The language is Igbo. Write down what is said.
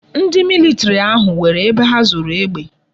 Ndi military ahu nwere ebe ha zoro egbe